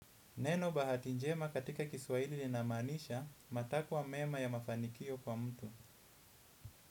Neno bahati njema katika Kiswahili linamaanisha matakwa mema ya mafanikio kwa mtu.